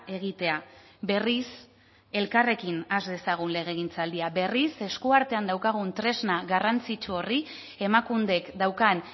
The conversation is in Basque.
egitea berriz elkarrekin has dezagun legegintzaldia berriz eskuartean daukagun tresna garrantzitsu horri emakundek daukan